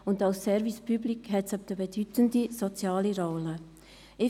Als Service Public nimmt es eine bedeutende soziale Rolle ein.